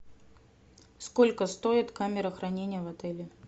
сколько стоит камера хранения в отеле